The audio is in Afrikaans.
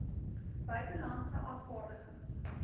buite landse afvaardigings